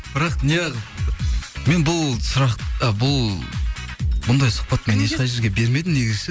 бірақ неағып мен бұл сұрақ ы бұл мұндай сұхбат мен ешқай жерге бермедім негізі ше